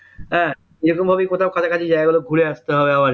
হ্যাঁ এরকমভাবে কোথাও কাছাকাছি জায়গাগুলো ঘুরে আসতে হবে আবার কি